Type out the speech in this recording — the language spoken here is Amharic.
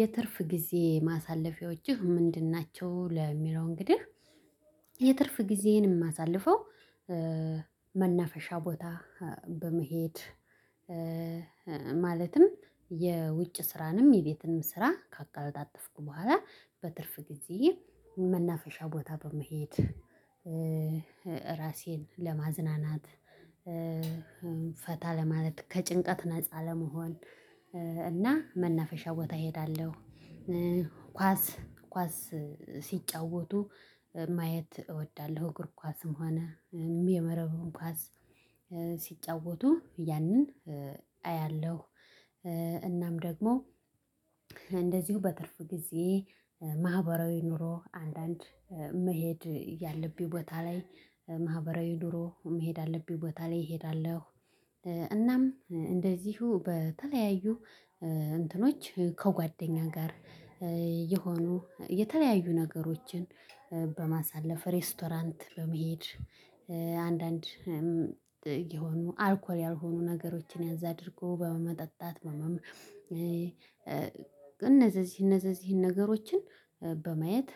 የትርፍ ጊዜ ማሳለፊያዎችህ ምንድን ናቸው? ለሚለው እንግዲህ የትርፍ ጊዜየ የማሳልፈው መናፈሻ ቦታ በመሄድ ማለትም የውጭ ስራንም የቤትንም ስራ ካቀለጣጠፍኩ በኋላ በትርፍ ጊዜ መናፈሻ ቦታ በመሄድ ራሴን ለማዝናናት ፈታ ለማለት ከጭንቀት ነፃ ለመሆን እና መናፈሻ ቦታ እሄዳለሁ። ኳስ ኳስ ሲጫወቱ ማየት እወዳለሁ እግር ኳስም ሆነ የመረቡን ኳስ ሲጫወቱ ያንን አያለሁ። እናም ደግሞ እንደዚሁ በትርፍ ጊዜ ማህበራዊ ኑሮ አንዳንድ መሄድ ያለብኝ ቦታ ላይ ማህበራዊ ኑሮ መሄድ አለብኝ ቦታ ላይ እሄዳለሁ። እናም እንደዚሁ በተለያዩ እንትኖች ከጓደኛ ጋር የሆኑ የተለያዩ ነገሮችን በማሳለፍ ሬስቶራንት በመሄድ አንዳንድ የሆኑ አልኮል ያልሆኑ ነገሮችን ያዛ አድርጎ በመጠጣት ነው ማመሸው። እነዚህ እነዚህ እነዚህ ነገሮችን በማየት